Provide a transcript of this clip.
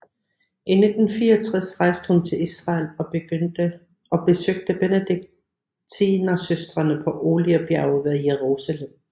I 1964 rejste hun til Israel og besøgte Benediktinersøstrene på Oliebjerget ved Jerusalem